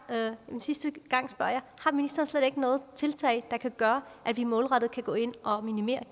en sidste gang har ministeren slet ikke noget tiltag der kan gøre at vi målrettet kan gå ind og minimere